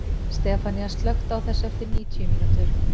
Stefanía, slökktu á þessu eftir níutíu mínútur.